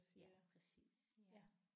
Ja præcis ja